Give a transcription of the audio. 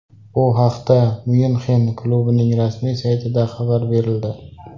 Bu haqda Myunxen klubining rasmiy saytida xabar berildi .